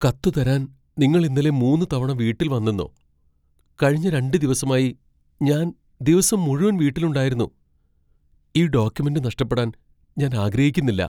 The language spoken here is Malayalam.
കത്ത് തരാൻ നിങ്ങൾ ഇന്നലെ മൂന്ന് തവണ വീട്ടിൽ വന്നെണോ? കഴിഞ്ഞ രണ്ട് ദിവസമായി ഞാൻ ദിവസം മുഴുവൻ വീട്ടിലുണ്ടായിരുന്നു , ഈ ഡോക്യുമെന്റ് നഷ്ടപ്പെടാൻ ഞാൻ ആഗ്രഹിക്കുന്നില്ല.